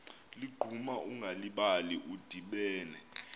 ligquma ungalibali udibene